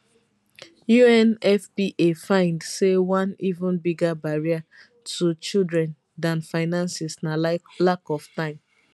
unfpa find say one even bigger barrier to children dan finances na lack of time